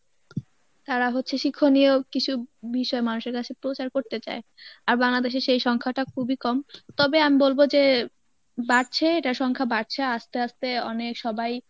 তারা হচ্ছে শিক্ষনীয় কিছু বিষয় মানুষের কাছে প্রচার করতে চায় আর বাংলাদেশের সেই সংখ্যাটা খুবই কম তবে আমি বলব যে বাড়ছে, এটার সংখ্যা বাড়ছে আস্তে আস্তে অনেক সবাই